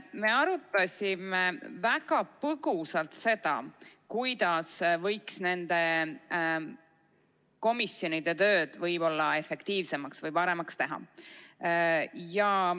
Me arutasime väga põgusalt seda, kuidas võiks nende komisjonide tööd efektiivsemaks või paremaks teha.